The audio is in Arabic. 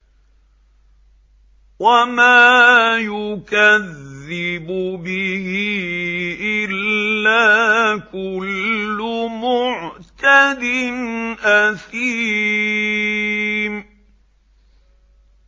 وَمَا يُكَذِّبُ بِهِ إِلَّا كُلُّ مُعْتَدٍ أَثِيمٍ